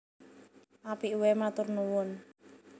Apik waé matur nuwun